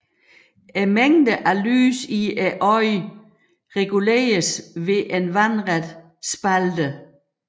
Mængden af lys i øjet reguleres ved en vandret spalte